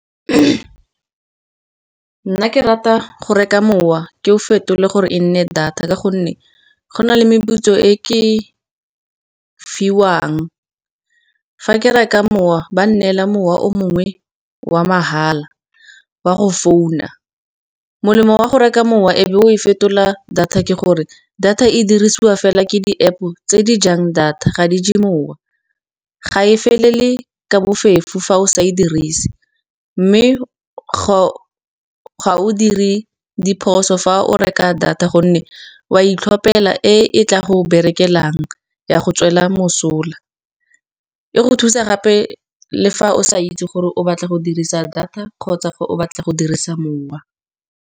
Nna ke rata go reka mowa ke o fetole gore e nne data, ka gonne go na le meputso e ke fiwang. Fa ke reka mowa ba nnela mowa o mongwe wa mahala wa go founa. Molemo wa go reka mowa e be o e fetola data ke gore data e dirisiwa fela ke di-App-o, tse di jang data ga di je mowa, ga e felele ka bofefo fa o sa e dirise. Mme ga o dire diphoso fa o reka data gonne wa itlhopela e e tla go berekelang ya go tswela mosola e go thusa gape le fa o sa itse gore o batla go dirisa data kgotsa o batla go dirisa mowa.